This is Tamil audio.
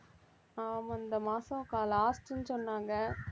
ஆமா இந்த மாசம் க~ last ன்னு சொன்னாங்க